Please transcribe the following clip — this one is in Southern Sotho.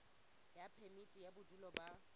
ya phemiti ya bodulo ba